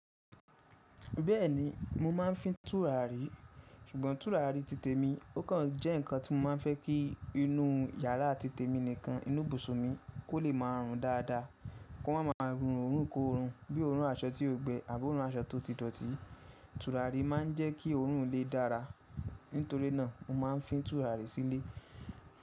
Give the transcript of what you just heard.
Bẹ́ẹ̀ni, mo máa ń fin tùràrí. Ṣùgbọ́n tùràrí titẹ̀ mi ó kàn jẹ́ ǹnkan tí mo máa ń fẹ́ kí inú yàrá titẹ̀ mi nìkan, inú ibùsun mi kó lè máa rùn dáadáa. Kó máa máa rùn òórùn kó òórùn, bí i òórùn aṣọ tí ó gbẹ àbí òórùn aṣọ tó ti dọ̀tí. Tùràrí máa ń jẹ́ kí òórùn ilè dára. Nítorí náà, mo máa ń fin tùràrí sílé.